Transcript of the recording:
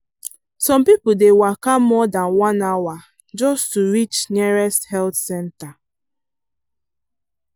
some people dey waka more than one hour just to reach nearest health centre.